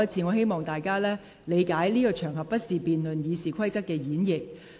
我希望大家理解，這不是辯論《議事規則》演繹的適當場合。